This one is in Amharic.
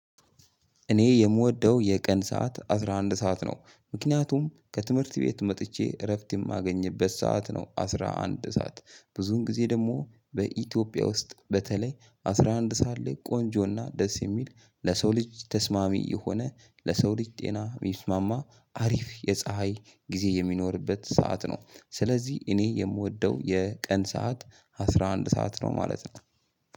እኔ የምወደው የቀን ሰዓት አስራ አንድ ሰዓት ነው ምክንያቱም ከትምህርት ቤት መጥቼ እረፍት የማገኝበት ሰዓት ነው። አስራ አንድ ሰዓት ብዙን ጊዜ ደሞ በኢትዮጵያ ውስጥ በተለይ አስራ አንድ ሰዓት ላይ ቆንጆና ደስ የሚል ለሰው ልጅ ተስማሚ የሆነ ለሰው ልጅ ጤና የሚስማማ አሪፍ የፀሀይ ጊዜ የሚኖርበት ሰዓት ነው። ስለዚህ እኔ የምወደው የቀን ሰዓት አስራ አንድ ሰዓት ነው ማለት ነው።